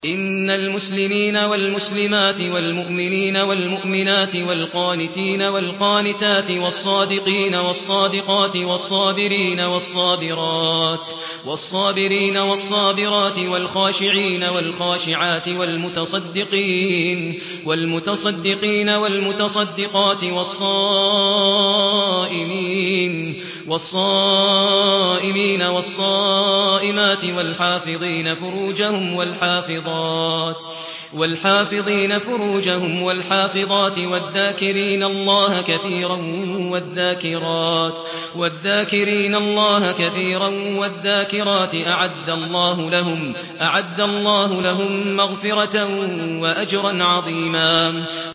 إِنَّ الْمُسْلِمِينَ وَالْمُسْلِمَاتِ وَالْمُؤْمِنِينَ وَالْمُؤْمِنَاتِ وَالْقَانِتِينَ وَالْقَانِتَاتِ وَالصَّادِقِينَ وَالصَّادِقَاتِ وَالصَّابِرِينَ وَالصَّابِرَاتِ وَالْخَاشِعِينَ وَالْخَاشِعَاتِ وَالْمُتَصَدِّقِينَ وَالْمُتَصَدِّقَاتِ وَالصَّائِمِينَ وَالصَّائِمَاتِ وَالْحَافِظِينَ فُرُوجَهُمْ وَالْحَافِظَاتِ وَالذَّاكِرِينَ اللَّهَ كَثِيرًا وَالذَّاكِرَاتِ أَعَدَّ اللَّهُ لَهُم مَّغْفِرَةً وَأَجْرًا عَظِيمًا